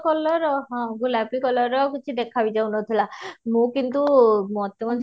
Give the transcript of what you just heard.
colour ହଁ ଗୁଳାପୀ colour ର କିଛି ଦେଖା ବି ଯାଉନଥିଲା ମୁଁ କିନ୍ତୁ ମୋତିଗଞ୍ଜ